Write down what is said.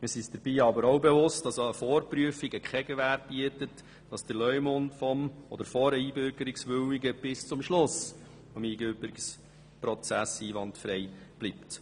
Dabei sind wir uns auch bewusst, dass eine Vorprüfung keine Gewähr bietet, dass der Leumund des Einbürgerungswilligen oder von der Einbürgerungswilligen bis zum Schluss des Einbürgerungsprozesses einwandfrei bleibt.